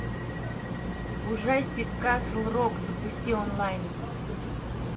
ужастик касл рок запусти онлайн